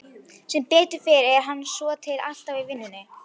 Sem betur fer er hann svotil alltaf í vinnunni.